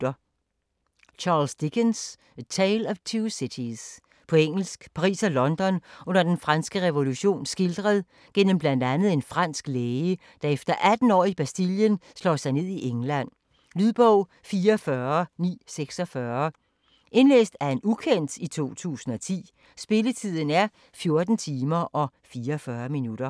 Dickens, Charles: A tale of two cities På engelsk. Paris og London under den franske revolution skildret gennem bl.a. en fransk læge, der efter 18 år i Bastillen slår sig ned i England. Lydbog 44946 Indlæst af ukendt, 2010. Spilletid: 14 timer, 44 minutter.